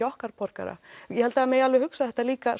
okkar borgara ég held það megi alveg hugsa þetta líka